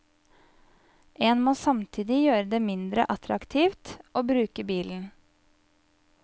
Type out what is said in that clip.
En må samtidig gjøre det mindre attraktivt å bruke bilen.